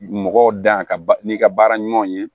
Mɔgɔw dan ka n'i ka baara ɲumanw ye